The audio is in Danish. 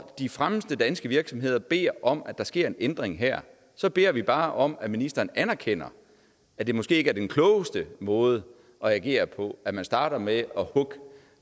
de fremmeste danske virksomheder beder om at der sker en ændring her så beder vi bare om at ministeren anerkender at det måske ikke er den klogeste måde at agere på at man starter med